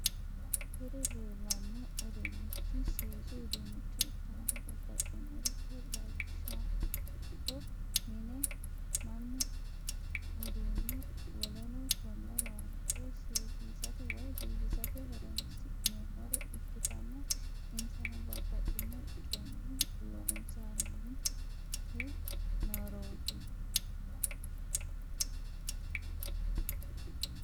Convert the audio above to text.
Kuri leellanno uduunnichi seesu uduunnicho ikkanna babbaxinoricho lawishshaho mine, manna, uduunne woleno konne lawannore seesisate woy biifisate horonsi'nemore ikkitanna insano babaxino coyini loosantinnoret.